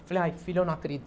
Eu falei, ai, filho, eu não